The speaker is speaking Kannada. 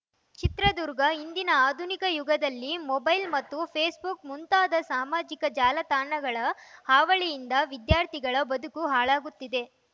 ಚಿತ್ರದುರ್ಗ ಇಂದಿನ ಆಧುನಿಕ ಯುಗದಲ್ಲಿ ಮೊಬೈಲ್‌ ಮತ್ತು ಫೇಸ್‌ಬುಕ್‌ ಮುಂತಾದ ಸಾಮಾಜಿಕ ಜಾಲತಾಣಗಳ ಹಾವಳಿಯಿಂದ ವಿದ್ಯಾರ್ಥಿಗಳ ಬದುಕು ಹಾಳಾಗುತ್ತಿದೆ